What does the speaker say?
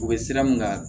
U bɛ sira mun kan